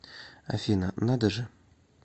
афина надо же